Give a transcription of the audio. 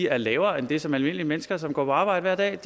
er lavere end det som almindelige mennesker som går på arbejde hver dag